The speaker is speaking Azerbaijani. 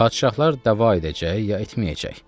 Padşahlar dəva edəcək, ya etməyəcək?